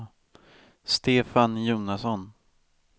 Stefan Jonasson